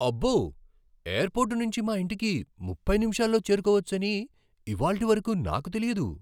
అబ్బో! ఎయిర్పోర్ట్ నుంచి మా ఇంటికి ముప్పై నిమిషాల్లో చేరుకోవచ్చని ఇవాల్టి వరకు నాకు తెలియదు.